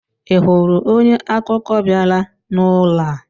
I hụrụ onye akụkọ bịara n'ụlọ a?